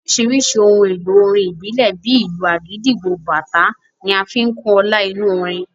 Oríṣiríṣi ohun èlò orin ìbílẹ̀, bíi ìlù agidigbo, bàtá ń fi kún ọlá inú orin